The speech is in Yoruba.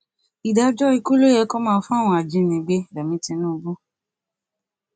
ìdájọ ikú ló yẹ kí wọn máa fún àwọn ajìnígbé rẹmi tìǹbù